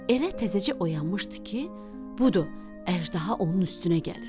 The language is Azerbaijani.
Elə təzəcə oyanmışdı ki, budur, əjdaha onun üstünə gəlir.